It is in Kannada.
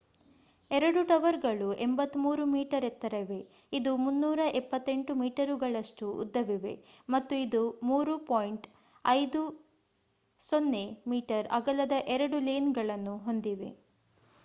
ಎರಡು ಟವರ್‌ಗಳು 83 ಮೀಟರ್‌ ಎತ್ತರ ಇವೆ ಇದು 378 ಮೀಟರುಗಳಷ್ಟು ಉದ್ದವಿವೆ ಮತ್ತು ಇದು 3.50 ಮೀ. ಅಗಲದ ಎರಡು ಲೇನ್‌ಗಳನ್ನು ಹೊಂದಿವೆ